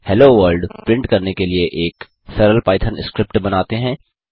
hello world print करने के लिए एक सरल पाइथन स्क्रिप्ट बनाते हैं